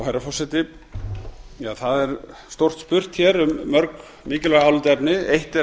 herra forseti það er stórt spurt hér um mörg mikilvæg álitaefni eitt er